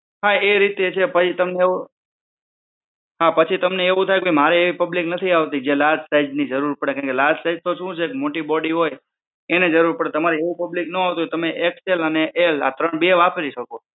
હા એ રીતે છે પછી તમે એવું હા પછી તમને એવું થાય કે મારે એ public નથી આવતી જે large size ની જરૂર પડે large size માં શું હોય મોટી body હોય એને જરૂર પડે તમારે એવું public ન આવતું હોય તો તમે XL અને L આ બે વાપરી શકો.